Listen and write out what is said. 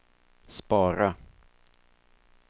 spara